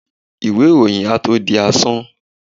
iwé iroyín à tó dí asán